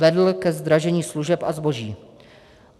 Vedl ke zdražení služeb a zboží.